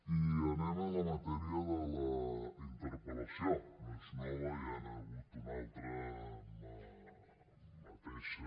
i anem a la matèria de la interpel·lació no és nova ja n’hi ha hagut una altra amb la mateixa